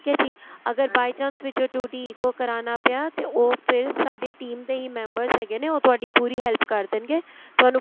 ਏ ਜੀ ਅਗਰ by chance ਵਿੱਚੋ TWO D ECO ਕਰਾਣਾ ਪਿਆ ਤੇ ਉਹ ਫ਼ਿਰ ਸਾਡੀ team ਦੇ ਹੀ members ਹੈਗੇ ਨੇ ਉਹ ਤੁਹਾਡੀ ਪੂਰੀ help ਕ਼ਰ ਦੇਣਗੇ ਤੁਹਾਨੂੰ